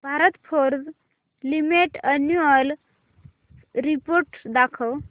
Bharat forge limited annual report दाखव